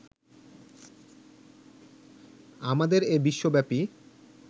আমাদের এ বিশ্বব্যাপী